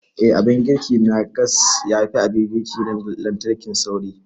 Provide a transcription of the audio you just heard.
Eh, Abin girki na gas yafi abin girki na lantarki sauri.